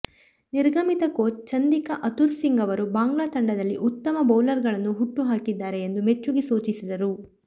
ನಿರ್ಗಮಿತ coach Chandika Hathurusingha ಅವರು ಬಾಂಗ್ಲಾ ತಂಡದಲ್ಲಿ ಉತ್ತಮ ಬೌಲರ್ಗಳನ್ನು ಹುಟ್ಟು ಹಾಕಿದ್ದಾರೆ ಎಂದು ಮೆಚ್ಚುಗೆ ಸೂಚಿಸಿದರು